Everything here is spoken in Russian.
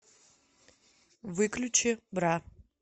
выключи бра